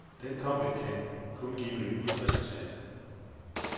Den kobling kan kun give et resultat.